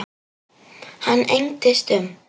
Hann engdist um.